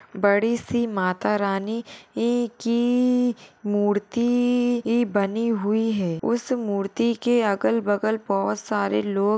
बड़ीसी माता रानी ये की मूर्ति ई बनी हुई है उस मूर्ति के अगल-बगल बहुत सारे लोग--